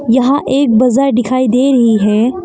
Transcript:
यहां एक बाजार दिखाई दे रही है।